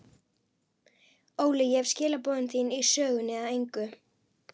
Óli, ég hef skilaboð þín í sögunni að engu.